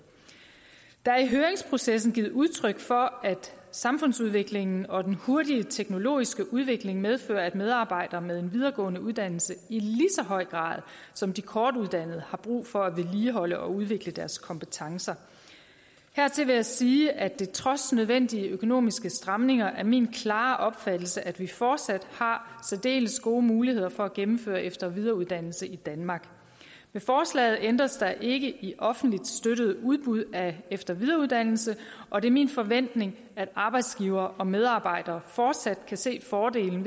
der er i høringsprocessen blevet givet udtryk for at samfundsudviklingen og den hurtige teknologiske udvikling medfører at medarbejdere med en videregående uddannelse i lige så høj grad som de kortuddannede har brug for at vedligeholde og udvikle deres kompetencer hertil vil jeg sige at det trods nødvendige økonomiske stramninger er min klare opfattelse at vi fortsat har særdeles gode muligheder for at gennemføre efter og videreuddannelse i danmark med forslaget ændres der ikke i offentligt støttede udbud af efter og videreuddannelse og det er min forventning at arbejdsgivere og medarbejdere fortsat kan se fordelen